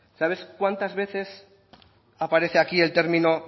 sabes cuántas veces aparece aquí el término